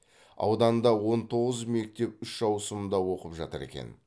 ауданда он тоғыз мектеп үш ауысымда оқып жатыр екен